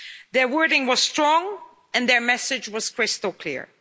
Their wording was strong and their message was crystal clear.